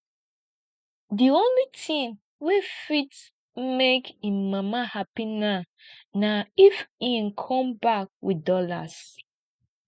the only thing wey fit make im mama happy now na if im come back with dollars